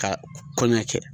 Ka kɔɲɔ kɛ.